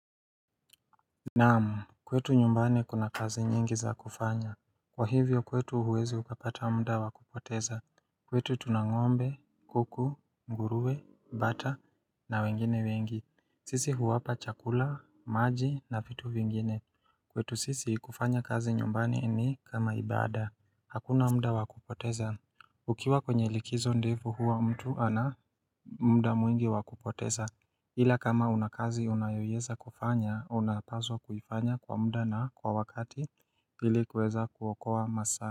Naam kwetu nyumbani kuna kazi nyingi za kufanya Kwa hivyo kwetu huwezi ukapata muda wa kupoteza kwetu tuna ng'ombe, kuku, ngurue, bata na wengine wengi sisi huwapa chakula, maji na vitu vingine kwetu sisi kufanya kazi nyumbani ni kama ibada Hakuna muda wa kupoteza Ukiwa kwenye likizo ndefu huwa mtu ana muda mwingi wa kupoteza ila kama una kazi unayoweza kufanya, unapaswa kufanya kwa muda na kwa wakati ili kuweza kuokoa masaa.